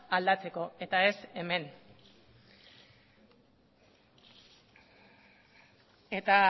aldatzeko eta ez hemen eta